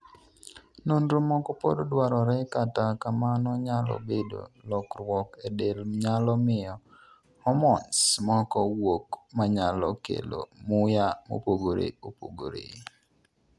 nonro moko pod dwarore kata kamano nyalo bedo lokruok e del nyalo miyo hormones moko wuok manyalo kelo muya mopogore opogore